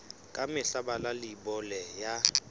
ka mehla bala leibole ya